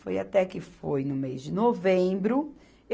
Foi até que foi no mês de novembro.